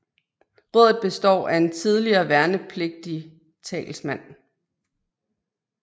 Rådet består af tidligere værnepligtige talsmænd